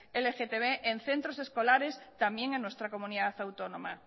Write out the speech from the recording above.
lgtb en centros escolares también en nuestra comunidad autónoma